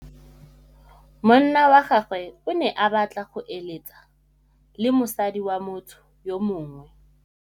Monna wa gagwe o ne a batla go êlêtsa le mosadi wa motho yo mongwe.